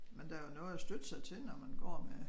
Men der jo noget at støtte sig til når man går med